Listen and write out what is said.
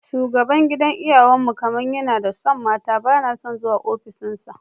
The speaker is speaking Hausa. Shugaban gidan iyawan mu kamar yana son mata, bana son zuwa ofishin sa.